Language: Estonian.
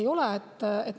Ei ole.